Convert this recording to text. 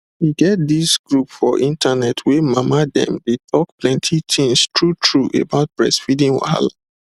e get this group for internet wey mama dem dey talk plenty things true true about breastfeeding wahala